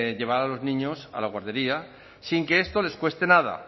llevar a los niños a la guardería sin que esto les cueste nada